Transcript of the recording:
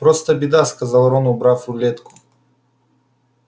просто беда сказал рон убрав рулетку